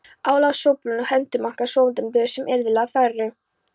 Álafossúlpunum, hettumunkana svonefndu, sem yrðlinga þeirra.